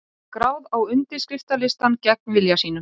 Skráð á undirskriftalistann gegn vilja sínum